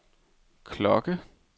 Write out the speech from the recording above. klokke